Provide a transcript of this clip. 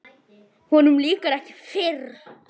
Honum lýkur ekki fyrr.